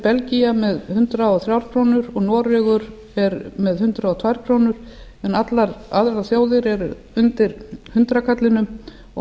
belgía með hundrað og þrjár krónur og noregur er með hundrað og tvær krónur en allar aðrar þjóðir eru undir hundraðkallinum og